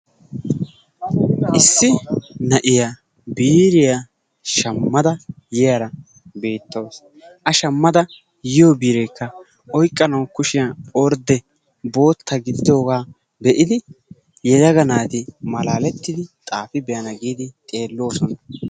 Issi na'iya biiriya shammada yiyara beettawusu. A shammada yiyo biireekka oyqqanawu kushiyan ordde bootta gididoogaa be'idi yelaga naati maalaalettidi xaafi be'ana giidi xeelloosona.